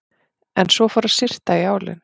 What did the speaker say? En svo fór að syrta í álinn.